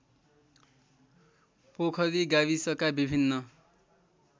पोखरी गाविसका विभिन्न